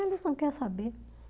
Eles não quer saber.